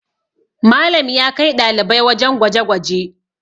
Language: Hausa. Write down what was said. Malam ya kai ɗalibai wajen gwaje gwaje